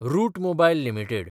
route Mobile limited